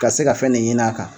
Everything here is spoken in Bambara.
Ka se ka fɛn de ɲinin a kan.